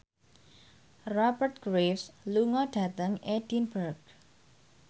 Rupert Graves lunga dhateng Edinburgh